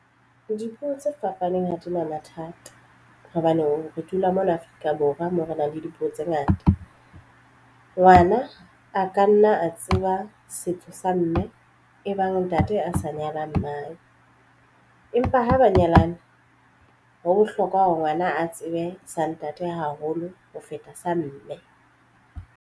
Dipuo tse fapaneng ha di na mathata hobane re dula mona Afrika Borwa moo re nang le dipuo tse ngata. Ngwana a ka nna a tseba setso sa mme e bang ntate a sa nyalang wa mmae empa ho banyalane ho bohlokwa hore ngwana a tsebe sa ntate haholo ho feta sa mme.